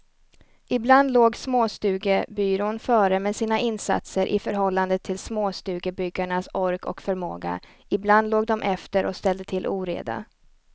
Ibland låg småstugebyrån före med sina insatser i förhållande till småstugebyggarnas ork och förmåga, ibland låg dom efter och ställde till oreda.